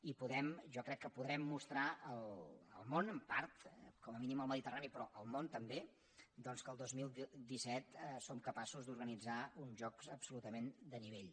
i jo crec que podrem mostrar al món en part com a mínim al mediterrani però al món també que el dos mil disset som capaços d’organitzar uns jocs absolutament de nivell